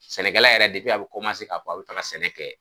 Sɛnɛkɛla yɛrɛ a be ka baro ta ka sɛnɛ kɛ